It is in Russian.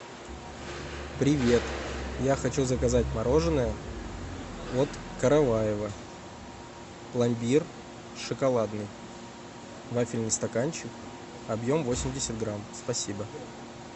привет я хочу заказать мороженое от караваева пломбир шоколадный вафельный стаканчик объем восемьдесят грамм спасибо